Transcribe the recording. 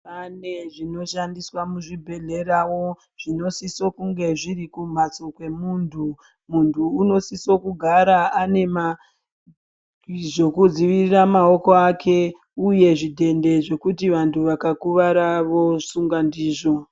Pane zvinoshandiswa muzvibhedhlera zvinosisa kunge zviri kumbatso kwemunhu muntu anosisa kugara ane zvekudzivirira maoko ake uye zvidhende zvekuti antu akakuwara vozvisunga ndizvo.